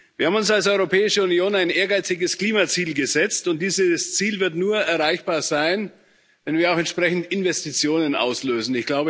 Wir haben uns als Europäische Union ein ehrgeiziges Klimaziel gesetzt, und dieses Ziel wird nur erreichbar sein, wenn wir auch entsprechend Investitionen auslösen.